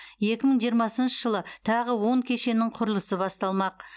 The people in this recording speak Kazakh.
екі мың жиырмасыншы жылы тағы он кешеннің құрылысы басталмақ